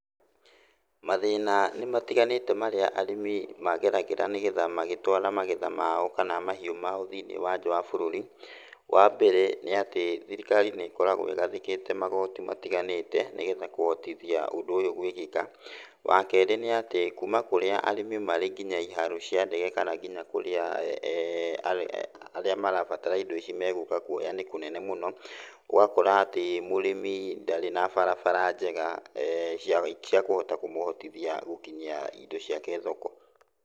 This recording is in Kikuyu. Mathĩna nĩ matiganĩte marĩa arĩmi mageragĩra nĩ getha magĩtwara magetha mao kana mahiũ mao thiĩniĩ wa nja wa bũrũri. Wa mbere, nĩ atĩ thirikari nĩ ĩkoragwo ĩgathĩkĩte magoti matiganĩte nĩ getha kũhotithia ũndũ ũyũ gwĩkĩka. Wa kerĩ nĩ atĩ kuma kũrĩa arĩmi marĩ nginya iharo cia ndege kana kũrĩa arĩa marabatara indo ici megũka kuoya nĩ kũnene mũno, ũgakora atĩ mũrĩmi ndarĩ na barabara njega cia kũhota kũmũhotothia gũkinyia indo ciake thoko.